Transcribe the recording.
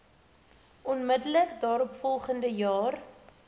onmiddellik daaropvolgende jare